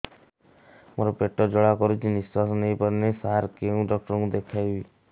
ମୋର ପେଟ ଜ୍ୱାଳା କରୁଛି ନିଶ୍ୱାସ ନେଇ ପାରୁନାହିଁ ସାର କେଉଁ ଡକ୍ଟର କୁ ଦେଖାଇବି